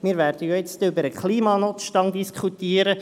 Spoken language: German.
Wir werden jetzt gleich über den Klimanotstand diskutieren.